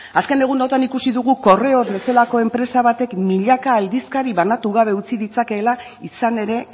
azken egunotan ikusi dugu correos bazelako enpresa batek milaka aldizkari banatu gabe utzi ditzakeela izan ere